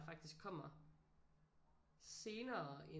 Faktisk kommer senere end